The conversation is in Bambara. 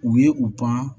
U ye u pan